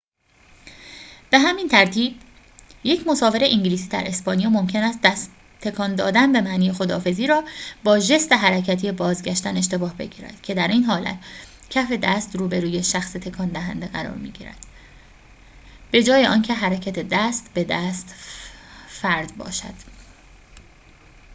به همین ترتیب، یک مسافر انگلیسی در اسپانیا ممکن است دست تکان دادن به معنی خداحافظی را با ژست حرکتی بازگشتن اشتباه بگیرد که در این حالت کف دست روبروی شخص تکان دهنده قرار می‌گیرد به‌جای آنکه حرکت دست به سمت فرد باشد